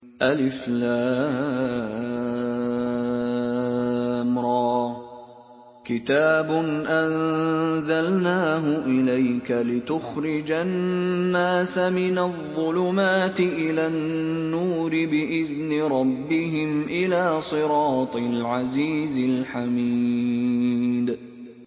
الر ۚ كِتَابٌ أَنزَلْنَاهُ إِلَيْكَ لِتُخْرِجَ النَّاسَ مِنَ الظُّلُمَاتِ إِلَى النُّورِ بِإِذْنِ رَبِّهِمْ إِلَىٰ صِرَاطِ الْعَزِيزِ الْحَمِيدِ